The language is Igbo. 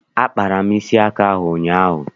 Akpara m isi aka ahụ ụnyaahụ.